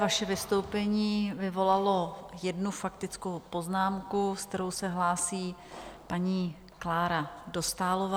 Vaše vystoupení vyvolalo jednu faktickou poznámku, se kterou se hlásí paní Klára Dostálová.